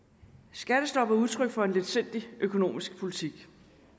skattestoppet var udtryk for en letsindig økonomisk politik